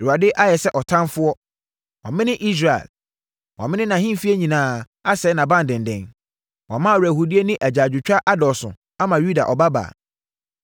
Awurade ayɛ sɛ ɔtamfoɔ; wamene Israel. Wamene nʼahemfie nyinaa asɛe nʼabandenden. Wama awerɛhoɔdie ne agyaadwotwa adɔɔso ama Yuda Ɔbabaa.